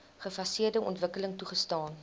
gefaseerde ontwikkeling toegestaan